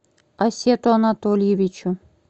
асету анатольевичу